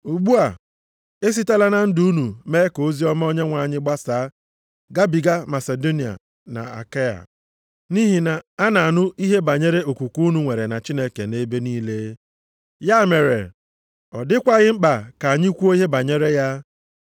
Ugbu a, e sitela na ndụ unu mee ka oziọma Onyenwe anyị gbasaa gabiga Masidonia na Akaịa. Nʼihi na a na-anụ ihe banyere okwukwe unu nwere na Chineke nʼebe niile. Ya mere, ọ dịkwaghị mkpa ka anyị kwuo ihe banyere ya.